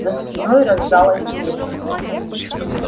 за спиной раздалось уханье